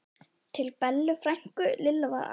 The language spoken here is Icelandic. til Bellu frænku, Lilla var æst.